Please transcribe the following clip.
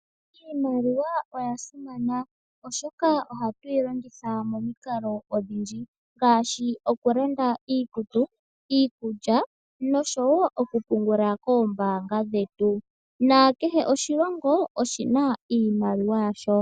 Iimaliwa oya simana oshoka oha tuyi longitha momikalo odhindji ngaashi okulanda iikutu, iikulya noshowo okupungula koombanga dhetu nakehe oshilongo oshina iimaliwa yasho.